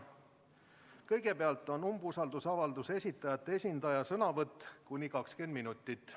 Kõigepealt on umbusaldusavalduse esitajate esindaja sõnavõtt, kuni 20 minutit.